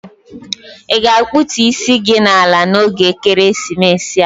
Ị ga-akpụtų isi gi ala n'oge ekeresimesi a?